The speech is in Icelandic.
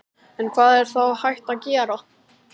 En hvað er þá hægt að gera?